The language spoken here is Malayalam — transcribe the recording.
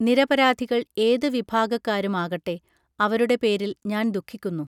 നിരപരാധികൾ ഏതു വിഭാഗക്കാരും ആകട്ടെ അവരുടെ പേരിൽ ഞാൻ ദുഃഖിക്കുന്നു